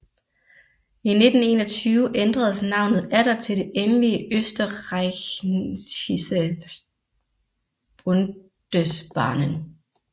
I 1921 ændredes navnet atter til det endelige Österreichische Bundesbahnen